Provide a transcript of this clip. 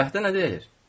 Vəhdə nə deyir?